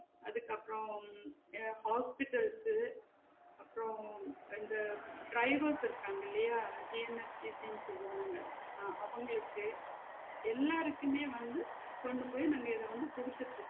அதுக்கப்றம் உம் எதாவது Hospitals சு அப்றம் வந்து drivers இருக்காங்கில்லையா J N S C T சொல்லுவாங்க ஆஹ் அவங்களுக்கு எல்லாருக்குமே வந்து கொண்டு போயி நாங்க இத வந்து குடுத்துட்டு